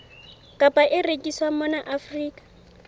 kapa e rekiswang mona afrika